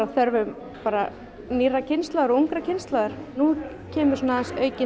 þörfum nýrrar kynslóðar kynslóðar nú kemur